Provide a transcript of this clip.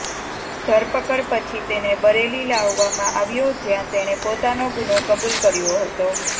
ધરપકડ પછી તેને બરેલી લાવવામાં આવ્યો જ્યાં તેણે પોતાનો ગુનો કબૂલ કર્યો હતો